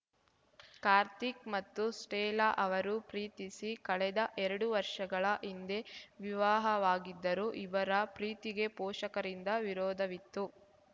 ಕಾರ್ತಿಕ್‌ ಮತ್ತು ಸ್ಟೆಲ್ಲಾ ಅವರು ಪ್ರೀತಿಸಿ ಕಳೆದ ಎರಡು ವರ್ಷಗಳ ಹಿಂದೆ ವಿವಾಹವಾಗಿದ್ದರು ಇವರ ಪ್ರೀತಿಗೆ ಪೋಷಕರಿಂದ ವಿರೋಧವಿತ್ತು